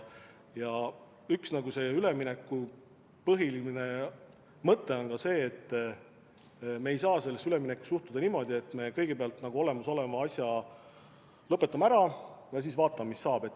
Üks ülemineku põhiline mõte on ka see, et me ei saa sellesse üleminekusse suhtuda niimoodi, et me kõigepealt olemasoleva asja lõpetame ära ja siis vaatame, mis saab.